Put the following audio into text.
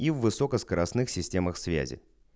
и высокоскоростных системах связи